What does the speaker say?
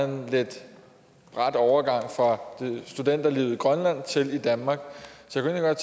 en lidt brat overgang fra studenterlivet i grønland til det i danmark så jeg